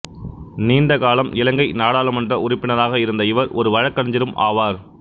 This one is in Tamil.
நீண்டகாலம் இலங்கை நாடாளுமன்ற உறுப்பினராக இருந்த இவர் ஒரு வழக்கறிஞரும் ஆவார்